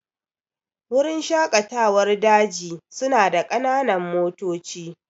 Wurin shaƙatawar daji su na da ƙananan motoci